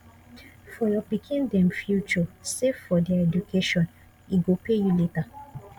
for your pikin dem future save for their education e go pay you later